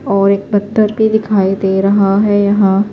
.اور ایک پتھر پی دکھائی دے رہا ہیں یحیٰ